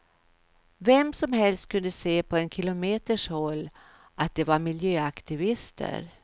Vem som helst kunde se på en kilometers håll att de var miljöaktivister.